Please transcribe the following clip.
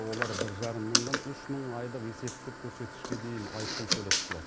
олар бір жарым мыңнан үш мың айлық есептік көрсеткішке дейін айыппұл төлеп құтылады